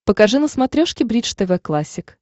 покажи на смотрешке бридж тв классик